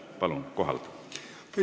Palun kohalt!